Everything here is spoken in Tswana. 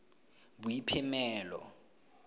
boiphemelo